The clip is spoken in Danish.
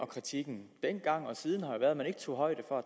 kritikken dengang og siden har jo været at man ikke tog højde for at